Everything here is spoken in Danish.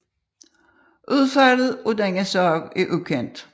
Udfaldet af denne sag er ukendt